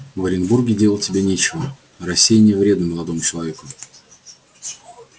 в оренбурге делать тебе нечего рассеяние вредно молодому человеку